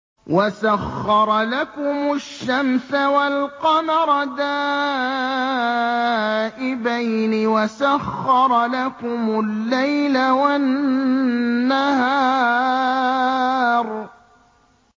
وَسَخَّرَ لَكُمُ الشَّمْسَ وَالْقَمَرَ دَائِبَيْنِ ۖ وَسَخَّرَ لَكُمُ اللَّيْلَ وَالنَّهَارَ